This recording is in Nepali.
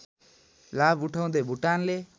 लाभ उठाउदै भुटानले